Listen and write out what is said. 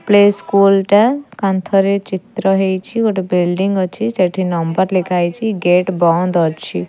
Play school ଟା କାନ୍ଥରେ ଚିତ୍ର ହେଇଛି ଗୋଟେ ବିଲଡିଂ ଅଛି ସେଠି ନମ୍ବର ଲେଖା ହେଇଚି ଗେଟ ବନ୍ଦ ଅଛି।